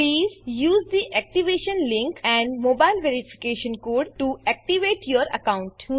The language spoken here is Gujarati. please use the activation link and mobile verification code to activate your account